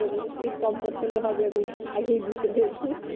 রবীন্দ্র সঙ্গীত কম পছন্দ হবে আগে বুঝতে পেরেছি